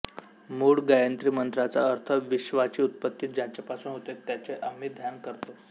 मूळ गायत्री मंत्राचा अर्थ विश्वाची उत्पत्ती ज्याच्यापासून होते त्याचे आम्ही ध्यान करतो